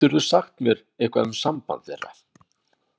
Geturðu sagt mér eitthvað um samband þeirra?